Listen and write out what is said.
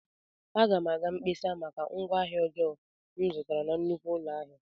Aga m aga mkpesa maka ngwaahịa ọjọọ m zụtara na nnukwu ụlọ ahịa.